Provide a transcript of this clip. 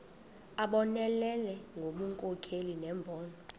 abonelele ngobunkokheli nembono